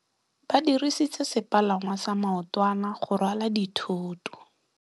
Ba dirisitse sepalangwasa maotwana go rwala dithôtô.